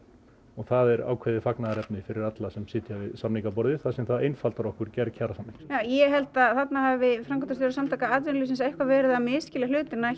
og það er ákveðið fagnaðarefni fyrir alla sem sitja við samningaborðið þar sem það einfaldar okkur gerð kjarasamninga ég held að þarna hafi framkvæmdastjóri s a eitthvað verið að misskilja hlutina